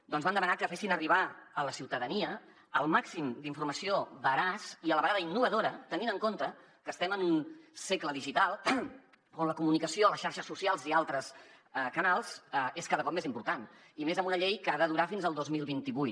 doncs vam demanar que fessin arribar a la ciutadania el màxim d’informació veraç i a la vegada innovadora tenint en compte que estem en un segle digital on la comunicació a les xarxes socials i altres canals és cada cop més important i més amb una llei que ha de durar fins al dos mil vint vuit